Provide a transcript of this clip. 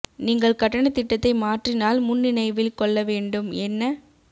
நீங்கள் கட்டண திட்டத்தை மாற்றினால் முன் நினைவில் கொள்ள வேண்டும் என்ன